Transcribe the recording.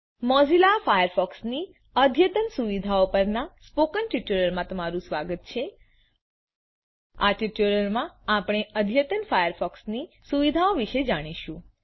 Mozilla ફાયરફોક્સની અદ્યતન સુવિધાઓ પરના સ્પોકન ટ્યુટોરીયલમાં તમારું સ્વાગત છે આ ટ્યુટોરીયલ માં આપણે અદ્યતન ફાયરફોક્સની સુવિધાઓ વિશે જાણીશું